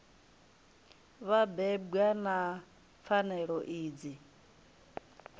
vha bebwa na pfanelo idzi